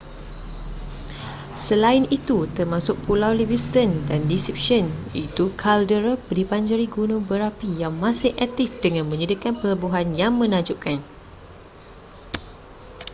selain itu termasuk pulau livingston dan deception iaitu kaldera dibanjiri gunung berapi yang masih aktif dengan menyediakan pelabuhan yang menakjubkan